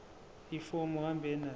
ifomu uhambe nalo